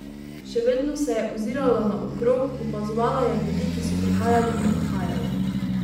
Še vedno se je ozirala naokrog, opazovala je ljudi, ki so prihajali in odhajali.